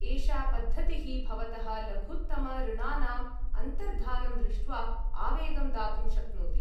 एषा पद्धतिः, भवतः लघुतमऋणानाम् अन्तर्धानं दृष्ट्वा, आवेगं दातुं शक्नोति।